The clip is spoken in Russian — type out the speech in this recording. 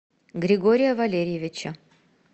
григория валерьевича